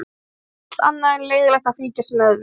Það er allt annað en leiðinlegt að fylgjast með við